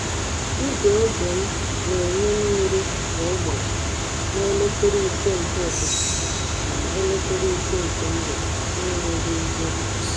Igwe oge m na-enye mmiri kwa ụbọchị na elekere ise nke ụtụtụ na elekere ise nke mgbede n’enweghị njehie.